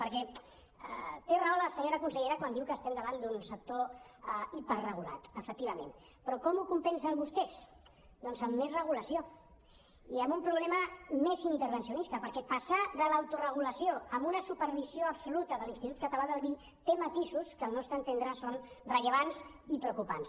perquè té raó la senyora consellera quan diu que estem davant d’un sector hiperregulat efectivament però com ho compensen vostès doncs amb més regulació i amb un problema més intervencionista perquè passar de l’autoregulació a una supervisió absoluta de l’institut català del vi té matisos que al nostre entendre són rellevants i preocupants